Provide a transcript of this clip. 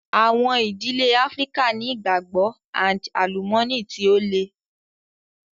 Àwọn ìdílé Áfríkà ni ìgbàgbọ́ and àlùmọ́nì tí ó le.